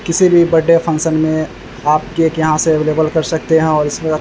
किसी भी birthday function में आप केक यहाँ से अवेलेबल कर सकते है और इसमें --